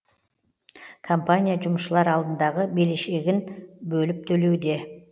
компания жұмысшылар алдындағы берешегін бөліп төлеуде